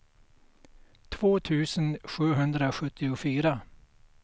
två tusen sjuhundrasjuttiofyra